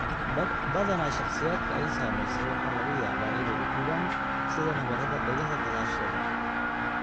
Badanaa, shakhsiyaadka ay saameysay waxaa laga yaabaa inay u gubaan sida nabarada dhegaha gadaasheeda.